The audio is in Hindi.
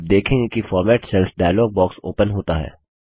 आप देखेंगे कि format cells dialog box open होता है